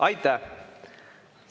Aitäh!